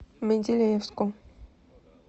менделеевску